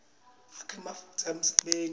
akha ematfuba emsebenti